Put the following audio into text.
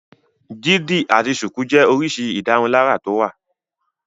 Dídi àti ṣùkú jẹ́ oríṣi ìdárunlárà tó wà.